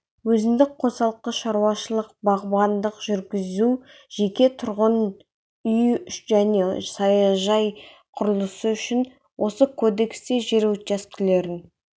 өзіндік қосалқы шаруашылық бағбандық жүргізу жеке тұрғын үй және саяжай құрылысы үшін осы кодексте жер учаскелерін